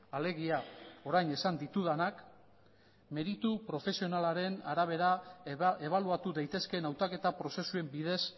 alegia orain esan ditudanak meritu profesionalaren arabera ebaluatu daitezkeen hautaketa prozesuen bidez